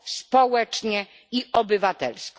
społecznie i obywatelsko.